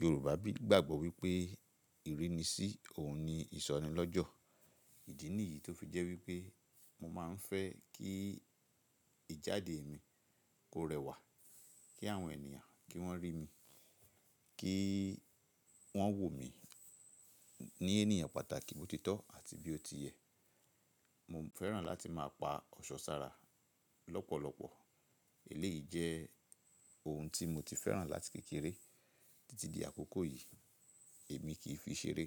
Yorùbá gbàgbọ́ wípé ìrínisí òun ni ìsọnilọ́jọ̀. Ìdí nìyí tó fi jẹ́ wípé mo máa ń fẹ́ kí ìjáde mi kó rẹwà, kí àwọn ènìyàn kí wọ́n rí mi, kí wọ́n wò mí ní ènìyàn pàtàkì bó ti tọ́ àti bí ó ti yẹ. Mo fẹ́ràn láti máa pa ọ̀ṣọ́ sára lọ́pọ̀lọpọ̀. Èléyìí jẹ́ ohun tí mo ti fẹ́ràn láti kékeré títí di àkókò yìí, èmi kì í fi ṣeré.